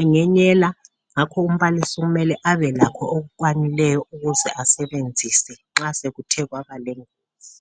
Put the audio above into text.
engenyela .Ngakho umbalisi kumele abelakho okukwanileyo ukuze asebenzise nxa sokuthe kwaba lengozi .